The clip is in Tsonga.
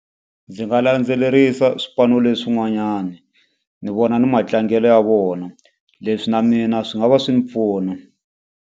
Ndzi nga landzelerisa swipano leswin'wanyani, ni vona ni matlangelo ya vona. Leswi na mina swi nga va swi ni pfuna.